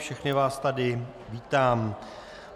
Všechny vás tady vítám.